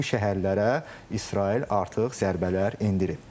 Bu şəhərlərə İsrail artıq zərbələr endirib.